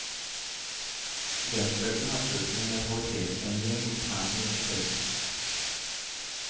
Studentbølgen har ført til en mentalitetsendring internt på universitetet.